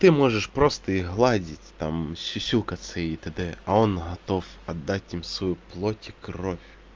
ты можешь просто их гладить там сюсюкаться и т д а он готов отдать им свою плоть и кровь